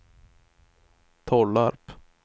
Tollarp